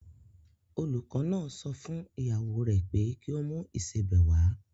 Olùkọ́ náà sọ fún ìyàwó rè pé kí o mú ìsebẹ̀ wá.